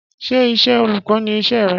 Ṣé iṣẹ́ olùkọ́ ni iṣẹ́ re